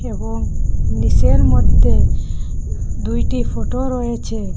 এবং নীসের মদ্যে দুইটি ফটো রয়েছে।